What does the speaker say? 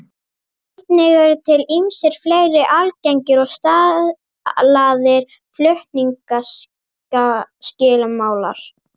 Einnig eru til ýmsir fleiri algengir og staðlaðir flutningsskilmálar.